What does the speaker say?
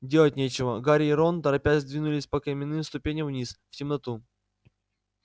делать нечего гарри и рон торопясь двинулись по каменным ступеням вниз в темноту